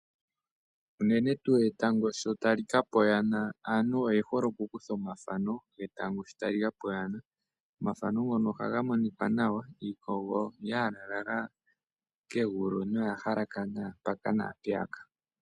Unene tu sho etango ta li kapa oyana aantu oye hole okukutha omathano getango sho ta li kapa oyana. Omathano ngono oha ga monika nawa giikogo yalala la kegulu noya halakana mpaka nampeyaka.